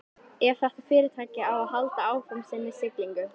Ef þetta fyrirtæki á að halda áfram sinni siglingu.